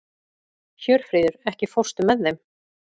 Hjörfríður, ekki fórstu með þeim?